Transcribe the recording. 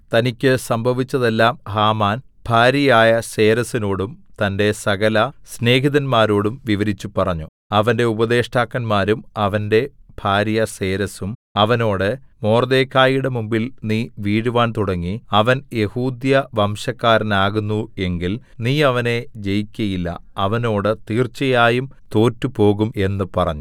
തനിക്ക് സംഭവിച്ചതെല്ലാം ഹാമാൻ ഭാര്യയായ സേരെശിനോടും തന്റെ സകല സ്നേഹിതന്മാരോടും വിവരിച്ചു പറഞ്ഞു അവന്റെ ഉപദേഷ്ടാക്കന്മാരും അവന്റെ ഭാര്യ സേരെശും അവനോട് മൊർദെഖായിയുടെ മുമ്പിൽ നീ വീഴുവാൻ തുടങ്ങി അവൻ യെഹൂദ്യവംശക്കാരനാകുന്നു എങ്കിൽ നീ അവനെ ജയിക്കയില്ല അവനോട് തീർച്ചയായും തോറ്റുപോകുംഎന്ന് പറഞ്ഞു